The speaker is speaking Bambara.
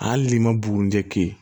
Hali n'i ma bugunijɛ kɛ ye